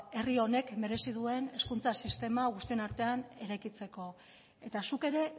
herri honek merezi duen hezkuntza sistema guztion artean eraikitzeko eta zuk ere